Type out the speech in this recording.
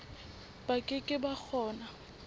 ba ke ke ba kgona